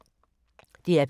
DR P3